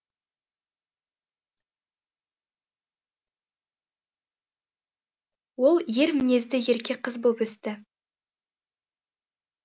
ол ер мінезді ерке қыз боп өсті